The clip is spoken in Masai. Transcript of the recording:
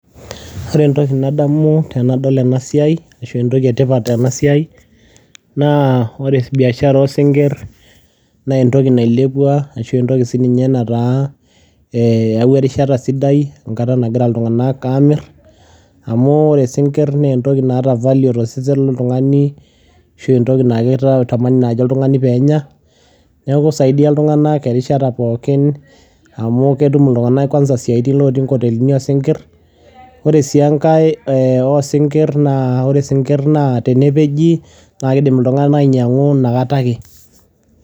Ore entoki nadamu tenadol ena siai ashu entoki etipat tena siai naa biashara oosingir naa entoki nailepua ashu entoki nataa eyawua enkata sidai enkata nagira iltunganak aamir amu ore isingir naa entoki naata value tosesen loltungani ashu entoki naakitamani nai oltungani peenya niaku isaidia iltunganak erishata pookin amu ketum iltunganak isiayitin kwanza ilotuii inkotelini osingir Ore sii enkae oosingir naa ore isingir naa tenepeji naa iidim iltunganak ainyangu inakatake